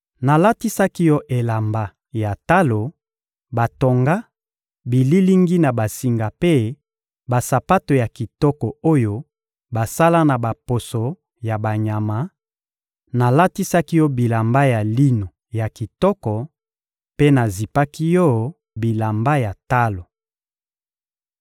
Nalatisaki yo elamba ya talo batonga bililingi na basinga mpe basapato ya kitoko oyo basala na baposo ya banyama; nalatisaki yo bilamba ya lino ya kitoko mpe nazipaki yo bilamba ya talo.